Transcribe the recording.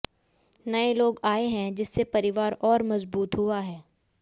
नए लोग आए है जिससे परिवार और मजबूत हुआ है